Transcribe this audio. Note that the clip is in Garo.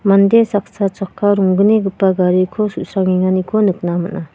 mande saksa chakka ronggnigipa gariko su·srangenganiko nikna man·a.